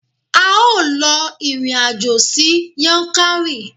A ó lọ ìrìn àjò sí Yankari.